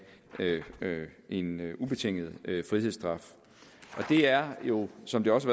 en ubetinget frihedsstraf og det er jo som det også